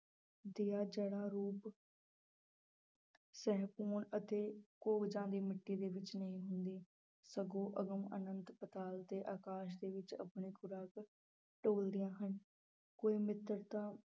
ਦੀਆਂ ਜੜ੍ਹਾਂ ਰੂਪ ਅਤੇ ਕੋਹਜਾਂ ਦੀ ਮਿੱਟੀ ਦੇ ਵਿੱਚ ਨਹੀਂ ਹੁੰਦੀ, ਸਗੋਂ ਅਗਮ ਆਨੰਤ ਪਾਤਾਲ ਤੇ ਆਕਾਸ ਦੇ ਵਿੱਚ ਆਪਣੀ ਖੁਰਾਕ ਟੋਲਦੀਆਂ ਹਨ ਕੋਈ ਮਿੱਤਰਤਾ